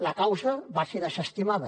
la causa va ser desestimada